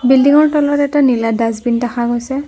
বিল্ডিংৰ তলত এটা নীলা ডাস্তবিন দেখা গৈছে।